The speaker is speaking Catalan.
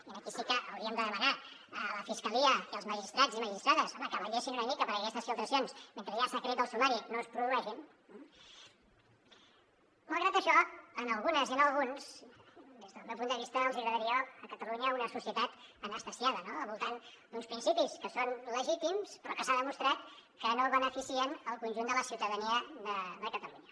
i aquí sí que hauríem de demanar a la fiscalia i als magistrats i magistrades home que vetllessin una mica perquè aquestes filtracions mentre hi ha secret del sumari no es produeixin malgrat això a algunes i a alguns des del meu punt de vista els agradaria a catalunya una societat anestesiada no al voltant d’uns principis que són legítims però que s’ha demostrat que no beneficien el conjunt de la ciutadania de catalunya